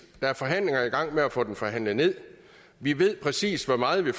der er forhandlinger i gang med at få den forhandlet nederst vi ved præcis hvor meget vi